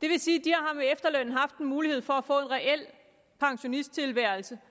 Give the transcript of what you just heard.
det vil sige at de med efterlønnen har haft en mulighed for at få en reel pensionisttilværelse